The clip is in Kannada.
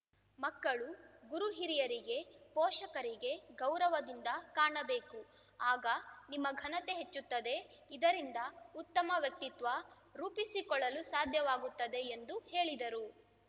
ಮಕ್ಕಳು ಗುರು ಹಿರಿಯರಿಗೆ ಪೋಷಕರಿಗೆ ಗೌರವದಿಂದ ಕಾಣಬೇಕು ಆಗ ನಿಮ್ಮ ಘನತೆ ಹೆಚ್ಚುತ್ತದೆ ಇದರಿಂದ ಉತ್ತಮ ವ್ಯಕ್ತಿತ್ವ ರೂಪಿಸಿಕೊಳ್ಳಲು ಸಾಧ್ಯವಾಗುತ್ತದೆ ಎಂದು ಹೇಳಿದರು